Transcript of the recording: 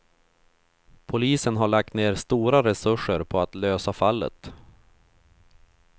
Polisen har lagt ner stora resurser på att lösa fallet.